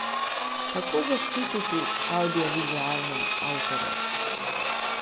Kako zaščititi avdiovizualne avtorje?